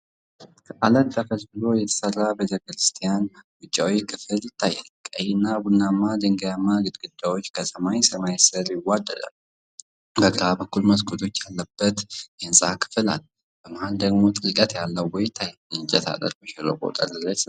ከዓለት ተፈልፍሎ የተሰራ ቤተክርስቲያን ውጫዊ ክፍል ይታያል። ቀይና ቡናማ ድንጋያማ ግድግዳዎች ከሰማያዊ ሰማይ ጋር ይዋሃዳሉ። በግራ በኩል መስኮት ያለበት የህንፃ ክፍል አለ፤ በመሃል ደግሞ ጥልቀት ያለው ቦይ ይታያል። የእንጨት አጥር በሸለቆው ጠርዝ ላይ ተዘርግቷል።